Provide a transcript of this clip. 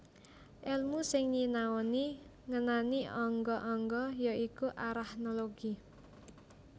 Elmu sing nyinaoni ngenani angga angga ya iku arachnologi